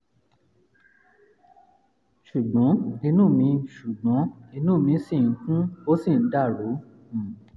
ṣùgbọ́n inú mi ṣùgbọ́n inú mi ṣì ń kùn ó sì ń dàrú um